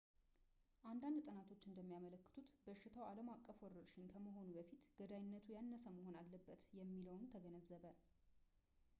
አንዳንድ ጥናቶች እንደሚያመለክቱት በሽታው ዓለም አቀፍ ወረርሽኝ ከመሆኑ በፊት ገዳይነቱ ያነሰ መሆን አለበት የሚለውን ተገነዘበ